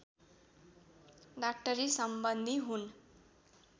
डाक्टरीसम्बन्धी हुन्